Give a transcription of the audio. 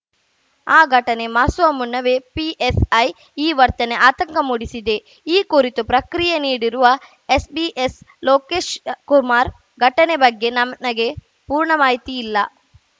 ಆ ಘಟನೆ ಮಾಸುವ ಮುನ್ನವೇ ಪಿಎಸ್‌ಐ ಈ ವರ್ತನೆ ಆತಂಕ ಮೂಡಿಸಿದೆ ಈ ಕುರಿತು ಪ್ರಕ್ರಿಯೆ ನೀಡಿರುವ SP BS Lokesh Kumar ಘಟನೆ ಬಗ್ಗೆ ನನಗೆ ಪೂರ್ಣ ಮಾಹಿತಿ ಇಲ್ಲ